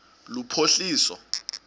lophuhliso